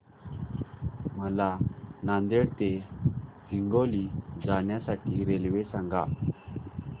मला नांदेड ते हिंगोली जाण्या साठी रेल्वे सांगा